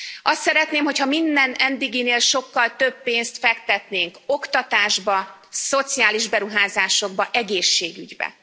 Azt szeretném, hogy ha minden eddiginél sokkal több pénzt fektetnénk oktatásba, szociális beruházásokba, egészségügybe.